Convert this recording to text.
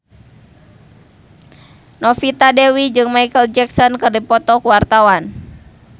Novita Dewi jeung Micheal Jackson keur dipoto ku wartawan